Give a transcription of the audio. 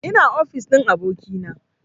Ina ofis ɗin abokina